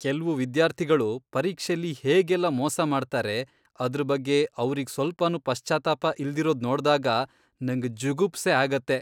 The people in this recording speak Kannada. ಕೆಲ್ವು ವಿದ್ಯಾರ್ಥಿಗಳು ಪರೀಕ್ಷೆಲಿ ಹೇಗೆಲ್ಲ ಮೋಸ ಮಾಡ್ತಾರೆ, ಅದ್ರ್ ಬಗ್ಗೆ ಅವ್ರಿಗ್ ಸ್ವಲ್ಪನೂ ಪಶ್ಚಾತ್ತಾಪ ಇಲ್ದಿರೋದ್ ನೋಡ್ದಾಗ್ ನಂಗ್ ಜುಗುಪ್ಸೆ ಆಗತ್ತೆ.